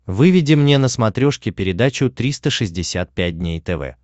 выведи мне на смотрешке передачу триста шестьдесят пять дней тв